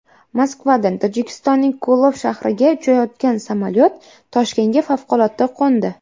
Moskvadan Tojikistonning Ko‘lob shahriga uchayotgan samolyot Toshkentga favqulodda qo‘ndi.